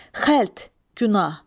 Xəlt, günah.